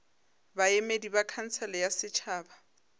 baemedi ba khansele ya setšhaba